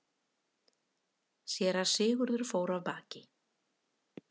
Síra Sigurður fór af baki.